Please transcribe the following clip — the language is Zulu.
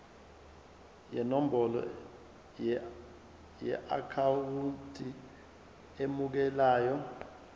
nenombolo yeakhawunti emukelayo